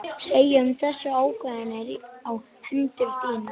Segja um þessar ákvarðanir á hendur þínar?